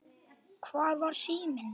Hvar var síminn?